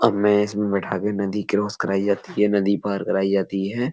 अब मैं इसमें बैठा के नदी क्रॉस कराई जाती है नदी पार कराई जाती है।